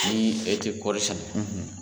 Ni e tɛ kɔɔri sɛnɛ,